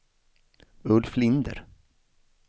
Ulf Linder